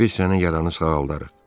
Biz səni yaranı sağaldarıq.